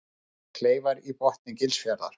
Kleifar í botni Gilsfjarðar.